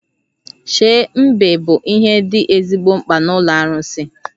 Shei mbe bụ ihe dị ezigbo mkpa n'ụlọ arụsị